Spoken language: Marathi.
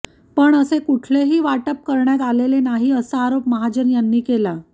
पण असे कुठलेही वाटप करण्यात आलेले नाही असा आरोप महाजन यांनी केला